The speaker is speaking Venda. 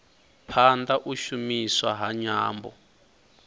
phanda u shumiswa ha nyambo